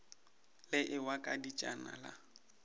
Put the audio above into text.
le ewa ka dietšana la